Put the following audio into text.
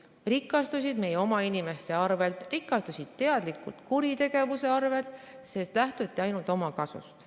Nad rikastusid meie oma inimeste arvel, rikastusid teadlikult kuritegevuse arvel, sest lähtuti ainult omakasust.